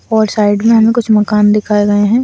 और साइड हमे कुछ मकान--